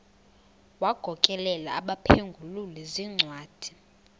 wagokelela abaphengululi zincwadi